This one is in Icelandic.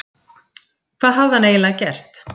Hvað hafði hann eiginlega gert?